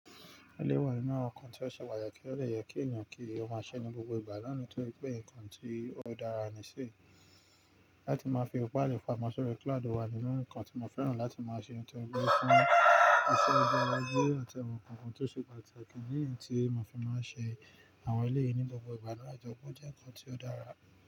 Eleyii wà nínú awon nǹkan tí ó ṣe patakí ti ó de yẹ kí èèyan kí ó máa ṣẹ ní gbogbo ìgbà naa ni tóri pé nǹkan tí ó dára ní ṣi láti máa fi faili pamo sori cloud wà nínú nǹkan tí mo fẹ́ràn láti máa ṣe nitori fún iṣẹ́ gbogbo ojo àti awon nǹkan kan tí ó ṣe pàtàkì idi ni eyi tí mo fi máa ṣe àwọn eleyìí ní gbogbo ìgbà bayii Ìjọba jẹ́ nǹkan tí ó dára.